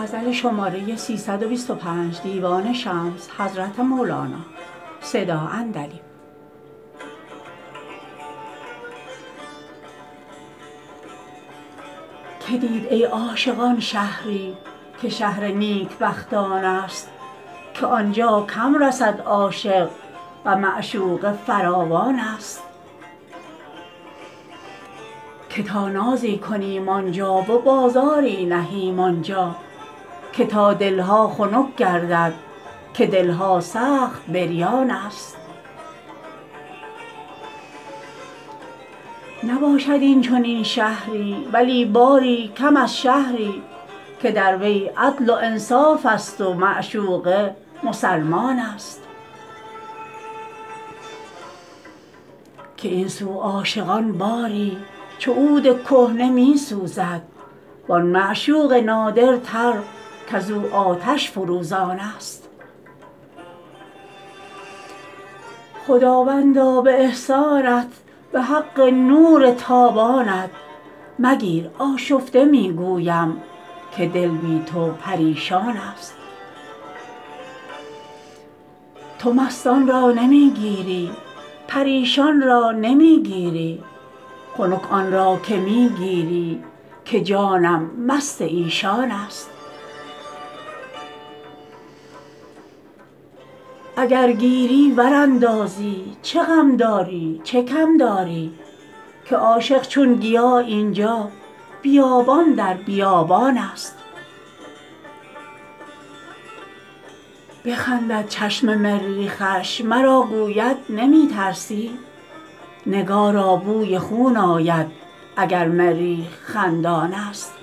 که دید ای عاشقان شهری که شهر نیکبختانست که عاشق کم رسد آنجا و معشوقش فراوانست که تا نازی کنیم آن جا و بازاری نهیم آن جا که تا دل ها خنک گردد که دل ها سخت بریانست نباشد این چنین شهری ولی باری کم از شهری که در وی عدل و انصافست و معشوق مسلمانست که این سو عاشقان باری چو عود کهنه می سوزد و آن معشوق نادرتر کز او آتش فروزانست خداوندا به احسانت به حق لطف و اکرامت مگیر آشفته می گویم که جان بی تو پریشانست تو مستان را نمی گیری پریشان را نمی گیری خنک آن را که می گیری که جانم مست ایشانست اگر گیری ور اندازی چه غم داری چه کم داری که عاشق هر طرف این جا بیابان در بیابانست بخندد چشم مریخش مرا گوید نمی ترسی نگارا بوی خون آید اگر مریخ خندانست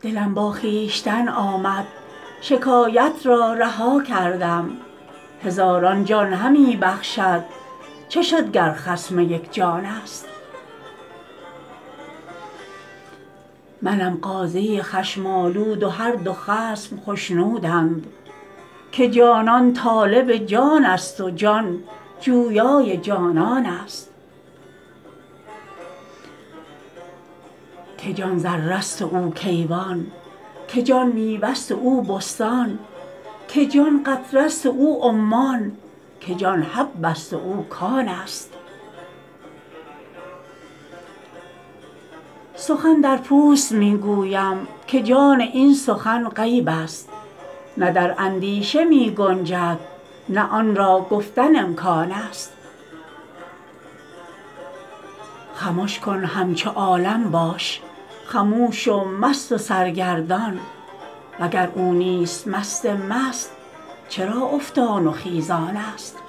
دلم با خویشتن آمد شکایت را رها کردم هزاران جان همی بخشد چه شد گر خصم یک جانست منم قاضی خشم آلود و هر دو خصم خشنودند که جانان طالب جانست و جان جویای جانانست که جان ذره ست و او کیوان که جان میوه ست و او بستان که جان قطره ست و او عمان که جان حبه ست و او کانست سخن در پوست می گویم که جان این سخن غیبست نه در اندیشه می گنجد نه آن را گفتن امکانست خمش کن همچو عالم باش خموش و مست و سرگردان وگر او نیست مست مست چرا افتان و خیزانست